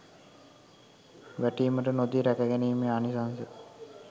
වැටීමට නොදී රැකගැනීමේ ආනිසංශ